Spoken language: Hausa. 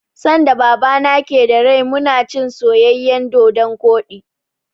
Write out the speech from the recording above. Sanda Babana ke da rai mu na cin soyayyen dodon koɗi